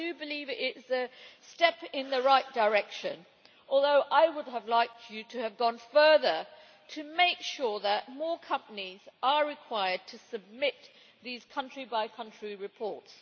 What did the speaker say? I do believe it is a step in the right direction, although I would have liked you to have gone further to make sure that more companies are required to submit these country-by-country reports.